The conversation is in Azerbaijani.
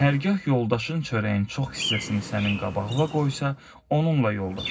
Hərgah yoldaşın çörəyin çox hissəsini sənin qabağına qoysa, onunla yoldaş ol.